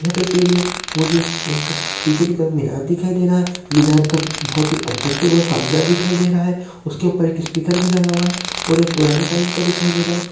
ये तस्वीर में मुझे एक पीछे की तरफ मीनार दिखाई दे रहा है मीनार का बहुत अट्रैक्टिव और शानदार दिखाई दे रहा है उसके ऊपर एक स्पीकर भी लगा हुआ है और ये पुराने टाइम का दिखाई दे रहा है।